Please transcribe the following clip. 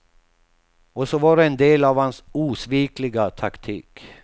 Och så var det en del av hans osvikliga taktik.